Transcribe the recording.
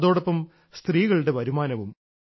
അതോടൊപ്പം സ്ത്രീകളുടെ വരുമാനവും